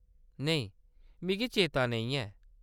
नेईं, मिगी चेता नेईं ऐ।